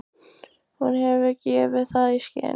Hún hefur gefið það í skyn.